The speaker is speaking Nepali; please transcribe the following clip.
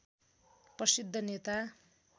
प्रसिद्ध नेता